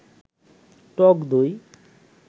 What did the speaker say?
টক দই